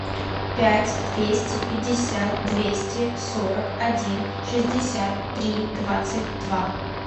пять двести пятьдесят двести сорок один шестьдесят три двадцать два